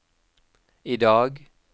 idag